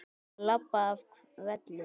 Að labba af velli?